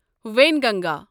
Wainganga